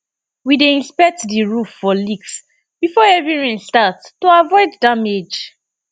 we dey inspect the roof for leaks before heavy rain start to avoid damage